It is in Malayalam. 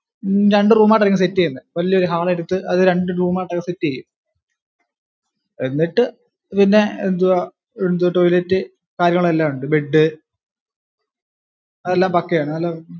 രണ്ടു റൂം ആയിട്ടായിരിക്കും സെറ്റ് ചെയ്യുന്നേ വലിയൊരു ഹാൾ എടുത്ത് അത് രണ്ടു റൂം ആക്കി സെറ്റ് ചെയ്യും എന്നിട്ടു പിന്നെ എന്തുവാ ടോയ്ലറ്റ് കാര്യങ്ങളും എല്ലാം ഉണ്ട് ബെഡ് അതെല്ലാം പക്കാ യാണ് അതെല്ലാം